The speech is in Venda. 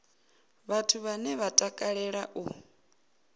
vhathu vhane vha takalea u